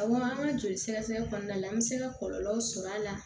Awɔ an ka joli sɛgɛsɛgɛ kɔnɔna la an bɛ se ka kɔlɔlɔw sɔrɔ a la